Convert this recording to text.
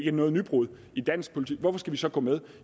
et nybrud i dansk politik hvorfor skal vi så gå med